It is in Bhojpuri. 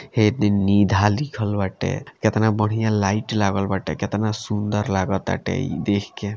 हे दिन निधा लिखल बाटे केतना बढ़िया लाइट लागल बाटे केतना सुंदर लागा ताटे इ देख के।